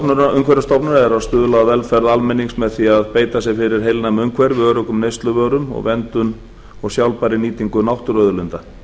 að stuðla að velferð almennings með því að beita sér fyrir heilnæmu umhverfi öruggum neysluvörum og verndun og sjálfbærri nýtingu náttúruauðlinda